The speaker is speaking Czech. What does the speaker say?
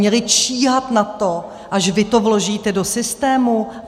Měli číhat na to, až vy to vložíte do systému?